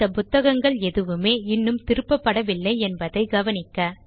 இந்த புத்தகங்கள் எதுவுமே இன்னும் திருப்பப்படவில்லை என்பதை கவனிக்க